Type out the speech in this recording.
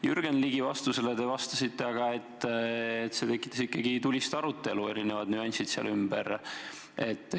Jürgen Ligile te vastasite aga, et need erinevad nüansid seal ümber tekitasid ikkagi tulist arutelu.